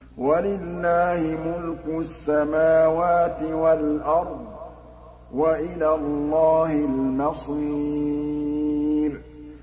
وَلِلَّهِ مُلْكُ السَّمَاوَاتِ وَالْأَرْضِ ۖ وَإِلَى اللَّهِ الْمَصِيرُ